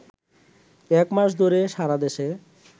একমাস ধরে সারাদেশে